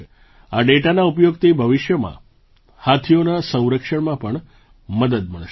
આ ડેટાના ઉપયોગથી ભવિષ્યમાં હાથીઓના સંરક્ષણમાં પણ મદદ મળશે